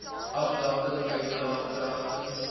afdanking uitdaag kragtens